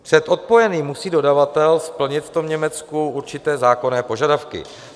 Před odpojením musí dodavatel splnit v tom Německu určité zákonné požadavky.